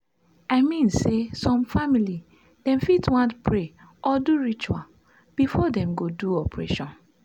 i mean say some family dem fit want pray or do ritual before dem go do operation